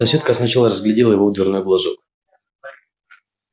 соседка сначала разглядела его в дверной глазок